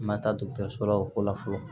N ma taa so la o ko la fɔlɔ